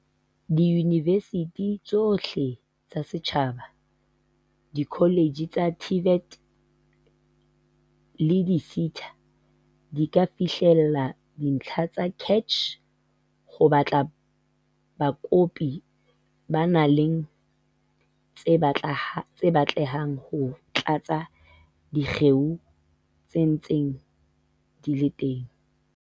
Diyunivesithi tsohle tsa setjhaba, dikoletjhe tsa TVET le di-SETA di ka fihlella dintlha tsa CACH ho batla bakopi ba nang le tse batlehang ho tlatsa dikgeo tse ntseng di le teng.